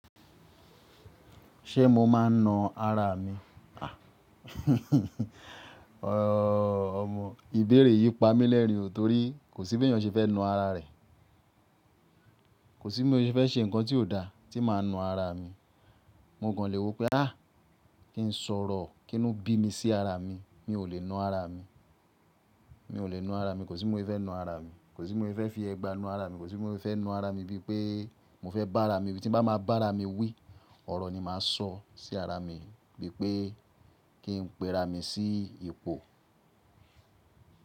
Ṣé mo máa ń na ara mi? Ọmọ, ìbéèrè yìí pamí l'ẹrin o torí kò sí bí èèyàn tí fẹ́ na ara rẹ̀. Kò sí bí mo fẹ́ ṣe nǹkan tí ò da tí máa na ara mi. Mo gan lè wo pé kí n sọ̀rọ̀ kínu bí mi sí ara mi. Mi ò lè na ara mi, mi ò lè na ara mi, kò sí bí mo fẹ́ na ara mi, kò sí bí mo fẹ́ fi ẹgba na ara mi, kò sí bí mo fẹ́ na ara mi bí pé mo fẹ́ bá ara mi wí. Tí bá máa bá ara mi wí, ọ̀rọ̀ ni màá sọ sí ara mi, bí pé kí n pe ara mi sí ipò.